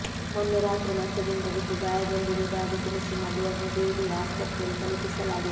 ಮೊನ್ನೆ ರಾತ್ರಿ ಮಂಚದಿಂದ ಬಿದ್ದು ಗಾಯಗೊಂಡಿ ರುವುದಾಗಿ ತಿಳಿಸಿ ಮಗುವನ್ನು ದೇಳಿಯ ಆಸ್ಪತ್ರೆಗೆ ತಲುಪಿಸಲಾಗಿತ್ತು